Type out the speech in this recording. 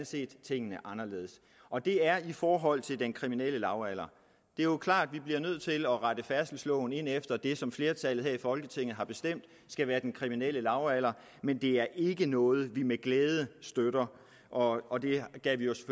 set tingene anderledes og det er i forhold til den kriminelle lavalder det er jo klart vi bliver nødt til at rette færdselsloven ind efter det som flertallet her i folketinget har bestemt skal være den kriminelle lavalder men det er ikke noget vi med glæde støtter og og det gav